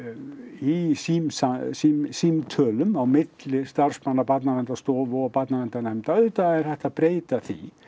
í símtölum á milli starfsmanna Barnaverndarstofu og barnaverndarnefnda auðvitað er hægt að breyta því